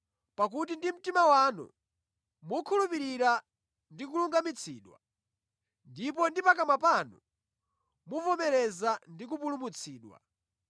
Pakuti ndi mtima wanu mukhulupirira ndi kulungamitsidwa, ndipo ndi pakamwa panu muvomereza ndi kupulumutsidwa.